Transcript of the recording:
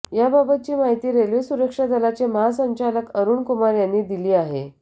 याबाबतची माहिती रेल्वे सुरक्षा दलाचे महासंचालक अरुण कुमार यांनी दिली आहे